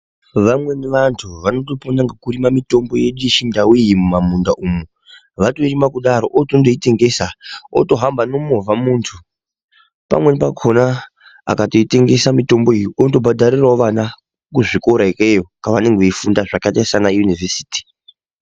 Vamweni vantu vanotopona ngekurima mitombo yedu yeChiNdau iyi mumamunda umu. Vatorima kudaro otondoitengesa, otohamba nemovha muntu. Pamweni pakona akatoitengesa mitombo iyi unotobhadharirawo vana kuzvikora ikeyo kavanenge veifunda, zvakaita sanayunivhesiti.